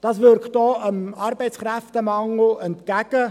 Das wirkt auch dem Arbeitskräftemangel entgegen.